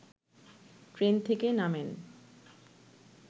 train থেকে নামেন